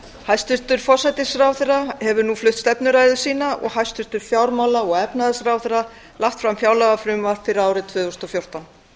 hæstvirtur forsætisráðherra hefur nú flutt stefnuræðu sína og hæstvirtur fjármála og efnahagsráðherra lagt fram fjárlagafrumvarp fyrir árið tvö þúsund og fjórtán